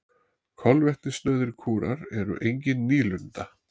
Kolvetnasnauðir kúrar eru engin nýlunda.